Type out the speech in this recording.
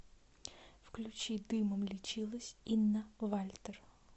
включи дымом лечилась инна вальтер